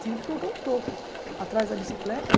Tive que colocar um toco atrás da bicicleta